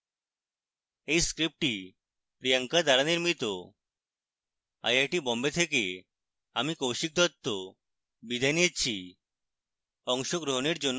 এই script priyanka দ্বারা নির্মিত আই আই টী বোম্বে থেকে আমি কৌশিক দত্ত বিদায় নিচ্ছি